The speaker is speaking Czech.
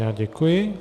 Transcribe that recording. Já děkuji.